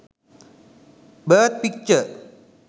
birth picture